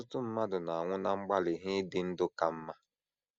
Ọtụtụ mmadụ na - anwụ ná mgbalị ha ịdị ndụ ka mma.